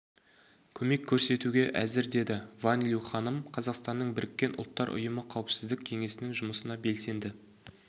көмек көрсетуге әзір деді фан лю ханым қазақстанның біріккен ұлттар ұйымы қауіпсіздік кеңесінің жұмысына белсенді